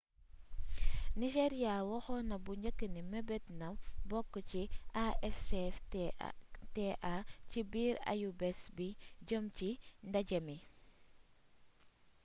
nigeria waxoon na bu njëkk ni mebetna bokk ci afcfta ci biir ayubés bi jeem ci ndajémi